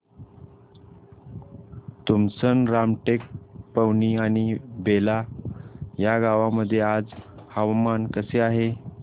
तुमसर रामटेक पवनी आणि बेला या गावांमध्ये आज हवामान कसे आहे